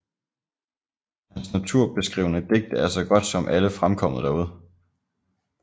Hans naturbeskrivende digte er så godt som alle fremkommet derude